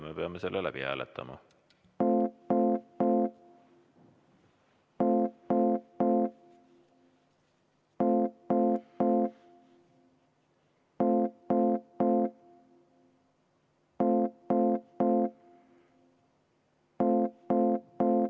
Me peame seda hääletama.